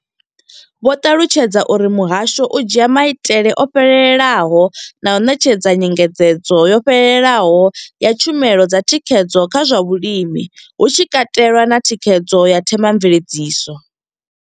Vho ṱalutshedza uri muhasho u dzhia maitele o fhelelaho na u ṋetshedza nyengedzedzo yo fhelelaho ya tshumelo dza thikhedzo kha zwa vhulimi, hu tshi katelwa na thikhedzo ya themamveledziso.